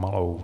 Malou.